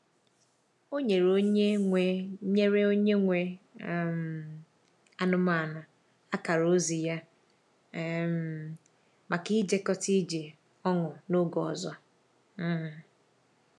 Ọ nyere onye nwe nyere onye nwe um anụmanụ akara ozi ya um maka ijekọta ije ọnụ n’oge ọzọ. um